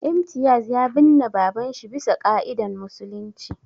Imtiaz ya binne babanshi bisa ƙa'idan musulunci